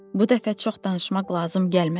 Bu dəfə çox danışmaq lazım gəlmədi.